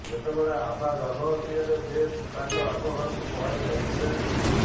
ଯେତେବେଳେ ଆଭା ଗର୍ଭବତୀ ହେଲେ ସେ ତାଙ୍କ ବାପ ଘରକୁ ପଳାଇଯାଇଥିଲେ